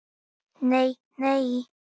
Nei nei!